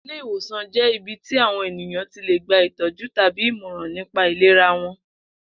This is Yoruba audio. Ilé ìwòsàn jé̩ ibi tí àwo̩n ènìyàn ti lè gba ìtó̩jú tàbí ìmò̩ràn nípa ìlera wo̩n